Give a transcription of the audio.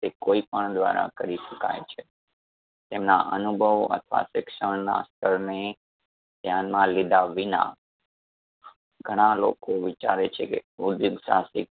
તે કોઈ પણ દ્વારા કરી શકાય છે. એમના અનુભવ અથવા શિક્ષણના સ્તર ને ધ્યાનમાં લીધા વિના ઘણા લોકો વિચારે છે કે ઉધ્યોગ સાહસિક